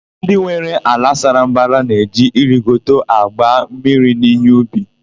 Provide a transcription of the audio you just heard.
Ndị nwere ala sara mbara na-eji irigetọ agba mmiri n'íhé ubi.